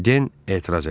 Den etiraz elədi.